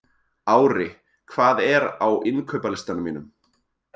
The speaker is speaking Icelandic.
Ári, hvað er á innkaupalistanum mínum?